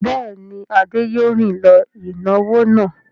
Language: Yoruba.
Bẹ́ẹ̀ ni, Adé yóò rìn lọ ìnáwó náà.